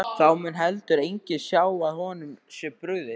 Þá mun heldur enginn sjá að honum sé brugðið.